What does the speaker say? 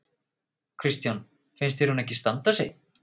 Kristján: Finnst þér hún ekki standa sig?